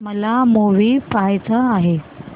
मला मूवी पहायचा आहे